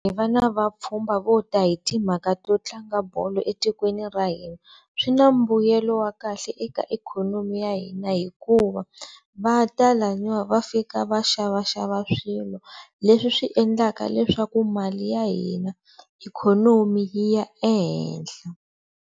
Va na vapfhumba vo ta hi timhaka to tlanga bolo etikweni ra hina swi na mbuyelo wa kahle eka ikhonomi ya hina hikuva va ta laniwa va fika va xavaxava swilo leswi endlaka leswaku mali ya hina ikhonomi yi ya ehenhla.